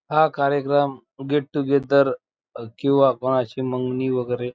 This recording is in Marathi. हा कार्यक्रम गेट टू गेदर किंवा कुणाची मंगनी वगैरे --